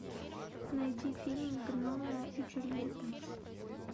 найди фильм гномео и джульетта